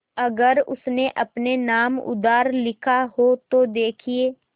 अगर उसने अपने नाम उधार लिखा हो तो देखिए